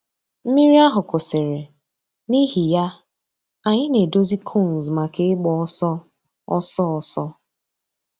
Mmírí àhụ̀ kwụsìrì, n'ìhì yà, ànyị̀ nà-èdòzì cones mǎká ị̀gba òsọ̀ òsọ̀ òsọ̀.